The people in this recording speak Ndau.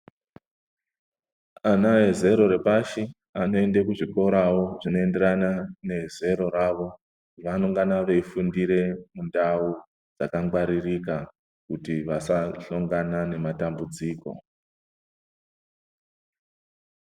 Ana vezero repashi anoende kuzvikorawo zvinoenderana nezero ravo vanongana veifundire mundau dzakagwaririka kuti vasahlongana nematambudziko.